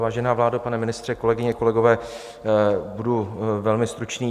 Vážená vládo, pane ministře, kolegyně, kolegové, budu velmi stručný.